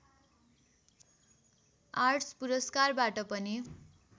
arts पुरस्कारबाट पनि